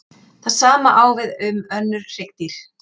Það sama á við um önnur hryggdýr.